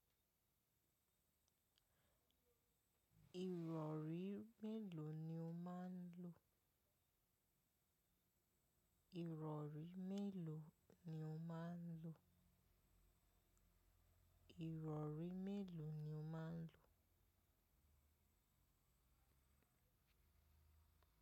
Ìrọ̀rí mélòó ni o máa ń lo?